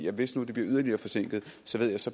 at hvis nu det bliver yderligere forsinket